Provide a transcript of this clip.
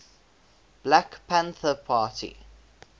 black panther party